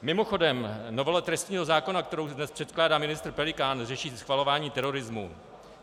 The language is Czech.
Mimochodem, novela trestního zákona, kterou dnes předkládá ministr Pelikán, řeší schvalování terorismu.